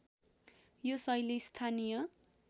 यो शैली स्‍थानीय